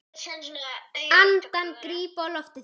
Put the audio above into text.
Andann gríp á lofti þá.